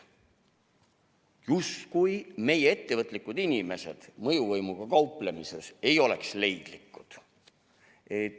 Justkui meie ettevõtlikud inimesed ei oleks mõjuvõimuga kauplemisel leidlikud.